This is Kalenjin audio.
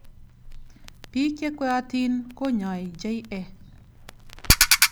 Bik chekweatin konyai JA.